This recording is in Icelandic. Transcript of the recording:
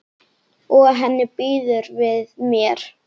Og henni býður við mér.